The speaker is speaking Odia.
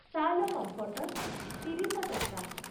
ଶାଲ କଂଫର୍ଟର ତିରିଶ ଟଂକା